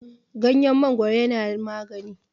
ganyen mangoro yana magani